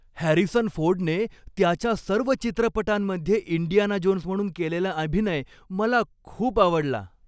Harrison फोर्डने त्याच्या सर्व चित्रपटांमध्ये इंडियाना जोन्स म्हणून केलेला अभिनय मला खूप आवडला.